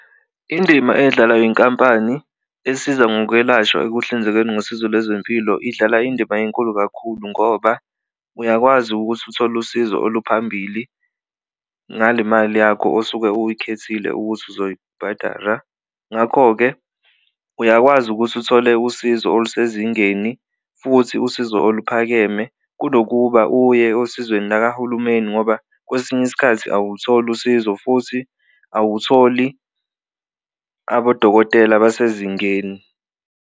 Indima eyidlalwa inkampani ezisiza ngokwelashwa ekuhlinzekeni ngosizo lwezempilo idlala indima enkulu kakhulu ngoba uyakwazi ukuthi uthole usizo oluphambili ngale mali yakho osuke uyikhethile ukuthi uzoyibhadara. Ngakho-ke, uyakwazi ukuthi uthole usizo olusezingeni futhi usizo oluphakeme kunokuba uye osizweni lakahulumeni ngoba kwesinye isikhathi awulutholi usizo futhi awutholi abodokotela basezingeni.